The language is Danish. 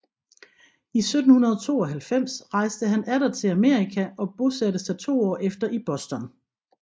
I 1792 rejste han atter til Amerika og bosatte sig to år efter i Boston